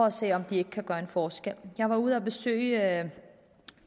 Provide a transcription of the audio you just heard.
at se om de ikke kan gøre en forskel jeg var ude at besøge